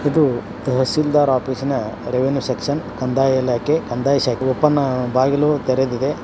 ಇದು ತಹಶೀಲ್ದಾರರ ಆಫಿಸಿನ್ ರೆವೆನ್ಯೂ ಸೆಕ್ಷನ್ ಕಂದಾಯ ಇಲಾಖೆ ಕಂದಾಯ ಶಾಖೆ ಓಪನ್ ಬಾಗಿಲು ತೆರೆದಿದೆ.